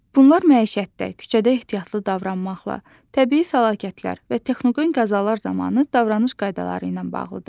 Bunlar məişətdə, küçədə ehtiyatlı davranmaqla, təbii fəlakətlər və texnogen qəzalar zamanı davranış qaydaları ilə bağlıdır.